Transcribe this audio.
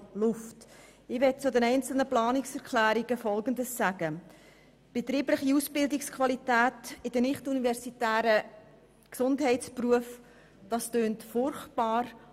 Ich möchte zu den einzelnen Planungserklärungen Folgendes sagen: Sparen bei der betrieblichen Ausbildungsqualität der nicht-universitären Gesundheitsberufe – das klingt erst einmal furchtbar.